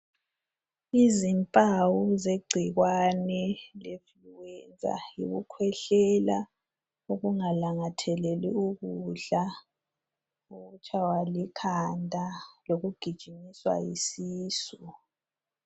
Izimpawu zegcikwane le influenza yikukhwehlela ukungalangatheleli ukudla ukutshaya likhanda lokugijinyiswa yisisu.